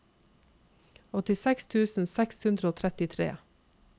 åttiseks tusen seks hundre og trettitre